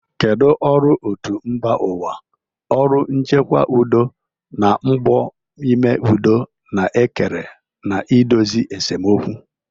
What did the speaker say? Kedu ọrụ otu mba ụwa, ọrụ nchekwa udo, na mbọ ime udo na-ekere na idozi esemokwu?